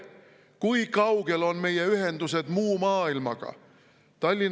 Kui kaugel on meie ühendused muu maailmaga?